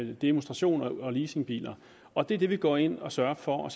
ved demonstrations og leasingbiler og det er det vi går ind og sørger for